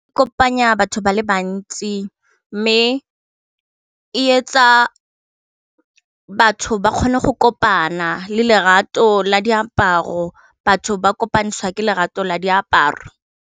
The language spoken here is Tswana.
Kopanya batho ba le bantsi mme e etsa batho ba kgone go kopana le lerato la diaparo batho ba kopantsha ke lerato la diaparo.